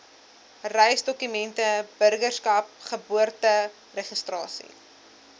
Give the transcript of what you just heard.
reisdokumente burgerskap geboorteregistrasie